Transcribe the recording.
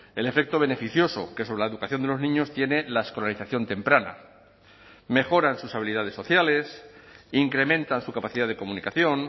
el efecto beneficioso que sobre la educación de los niños tiene la escolarización temprana mejoran sus habilidades sociales incrementan su capacidad de comunicación